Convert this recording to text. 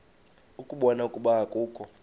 ukubona ukuba akukho